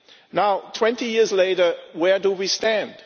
Now, 20 years later, where do we stand?